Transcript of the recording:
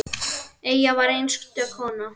Eyja var einstök kona.